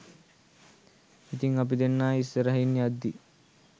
ඉතිං අපි දෙන්නා ඉස්සරහින් යද්දී